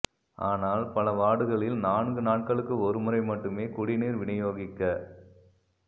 ஆனால் பல வார்டுகளில் நான்கு நாட்களுக்குஒரு முறை மட்டுமே குடிநீர் விநியோகிக்கப்